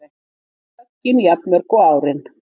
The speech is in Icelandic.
Höggin jafnmörg og árin